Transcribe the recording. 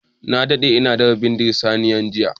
Na daɗe ina dafa bindin saniyar nan jiya.